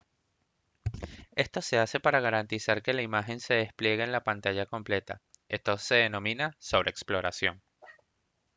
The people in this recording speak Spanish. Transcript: esto se hace para garantizar que la imagen se despliegue en la pantalla completa esto se denomina sobreexploración